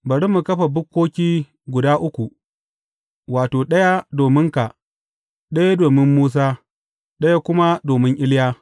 Bari mu kafa bukkoki guda uku, wato, ɗaya dominka, ɗaya domin Musa, ɗaya kuma domin Iliya.